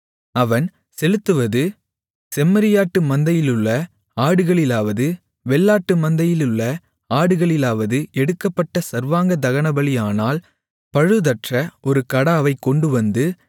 அவன் செலுத்துவது செம்மறியாட்டு மந்தையிலுள்ள ஆடுகளிலாவது வெள்ளாட்டு மந்தையிலுள்ள ஆடுகளிலாவது எடுக்கப்பட்ட சர்வாங்க தகனபலியானால் பழுதற்ற ஒரு கடாவைக் கொண்டுவந்து